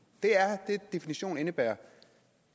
det er den definition indebærer